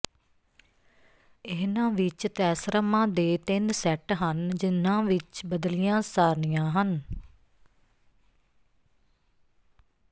ਇਨ੍ਹਾਂ ਵਿਚ ਤੈਸਰਮਾਂ ਦੇ ਤਿੰਨ ਸੈੱਟ ਹਨ ਜਿਨ੍ਹਾਂ ਵਿਚ ਬਦਲੀਆਂ ਸਾਰਣੀਆਂ ਹਨ